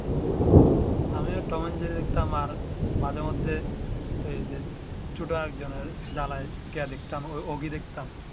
আমি ও Tom and Jerry দেখতাম আর মাঝে মধ্যে এই যে ছোট আরেক জনের জালি কে দেখতাম ওগি দেখতাম